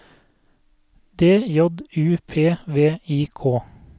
D J U P V I K